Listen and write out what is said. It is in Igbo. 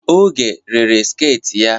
Oge rere sket ya.